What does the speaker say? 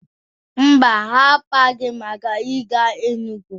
Mba, ha akpaghị maka ịga Enugu.